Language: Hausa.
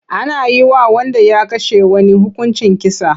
Ana yi wa wanda ya kashe wani hukuncin kisa.